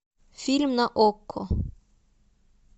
фильм на окко